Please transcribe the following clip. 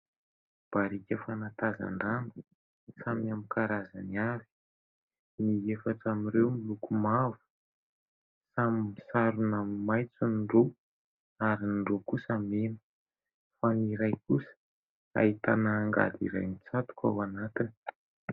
Barika fanatazan-drano samy amin'ny karazany avy : ny efatra amin'ireo miloko mavo, samy misarona maitso ny roa ary ny roa kosa mena fa ny iray kosa ahitana angady iray mitsatoka ao anatiny.